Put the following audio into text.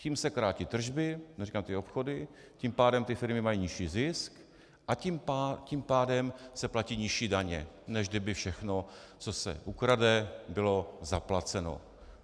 Tím se krátí tržby, neříkám ty obchody, tím pádem ty firmy mají nižší zisk a tím pádem se platí nižší daně, než kdyby všechno, co se ukradne, bylo zaplaceno.